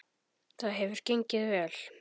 Það hefur gengið vel.